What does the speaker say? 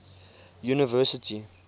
university